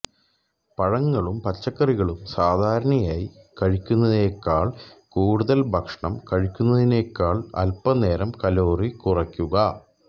പഴങ്ങളും പച്ചക്കറികളും സാധാരണയായി കഴിക്കുന്നതിനേക്കാൾ കൂടുതൽ ഭക്ഷണം കഴിക്കുന്നതിനേക്കാൾ അൽപനേരം കലോറി കുറയ്ക്കുക